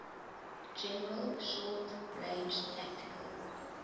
general short range tactical